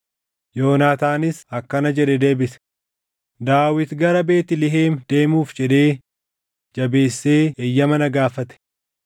Yoonaataanis akkana jedhee deebise; “Daawit gara Beetlihem deemuuf jedhee jabeessee eeyyama na gaafate.